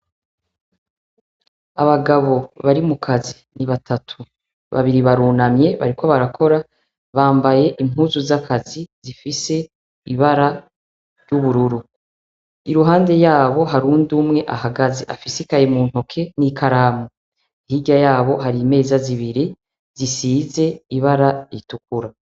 Abagabo bari mu kazi ni batatu, babiri barunamye bariko barakora, bambaye impuzu z'akazi zifise ibara ry'ubururu. Iruhande yaho hari uwundi umwe ahagaze, afise ikaye mu ntoke n'ikaramu. Hirya y'abo hari imeza zibiri zisize ibara ritukura.